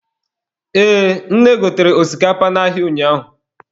Ee, nne gotere osikapa n'ahịa ụnyaahụ.